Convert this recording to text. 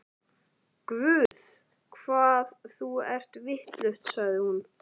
Guð, hvað þú ert vitlaus, sagði hún.